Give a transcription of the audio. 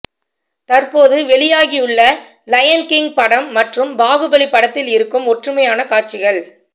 தற்போது வெளியாகியுள்ள Lion King படம் மற்றும் பாகுபலி படத்தில் இருக்கும் ஒற்றுமையான காட்சிகள்